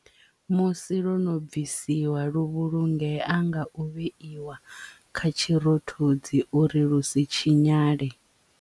Musi lwono bvisiwa lu vhulungea nga u vheiwa kha tshirothodzi uri lusi tshinyale.